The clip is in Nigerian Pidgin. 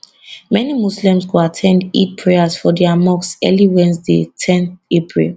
many muslims go at ten d eid prayers for dia mosque early wednesday ten april